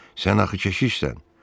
Sən axı keşişsən.